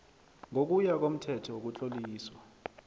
ngokuya komthetho wokutloliswa